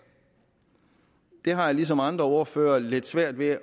jeg har ligesom andre ordførere lidt svært ved